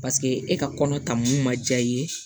Paseke e ka kɔnɔ taa mun ma diya i ye